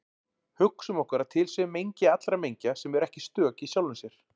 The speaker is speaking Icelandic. Hugsum okkur að til sé mengi allra mengja sem eru ekki stök í sjálfum sér.